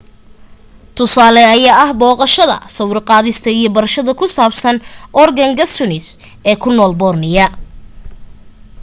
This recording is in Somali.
tusaale ayaa ah booqashada sawir-qaadista, iyo barashada ku saabsan organgatuangs ee ku nool borneo